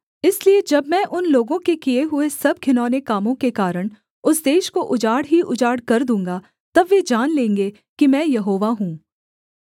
इसलिए जब मैं उन लोगों के किए हुए सब घिनौने कामों के कारण उस देश को उजाड़ ही उजाड़ कर दूँगा तब वे जान लेंगे कि मैं यहोवा हूँ